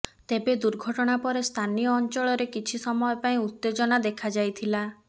ତେବେ ଦୁର୍ଘଟଣା ପରେ ସ୍ଥାନୀୟ ଅଞ୍ଚଳ ରେ କିଛି ସମୟ ପାଇଁ ଉତ୍ତେଜନା ଦେଖାଯାଇଥିଲା